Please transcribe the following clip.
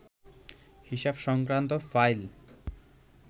হিসাব সংক্রান্ত ফাইল